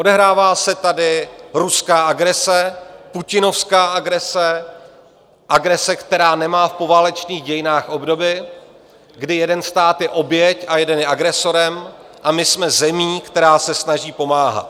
Odehrává se tady ruská agrese, putinovská agrese, agrese, která nemá v poválečných dějinách obdoby, kdy jeden stát je oběť a jeden je agresorem, a my jsme zemí, která se snaží pomáhat.